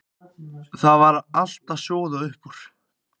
Það var allt að sjóða upp úr.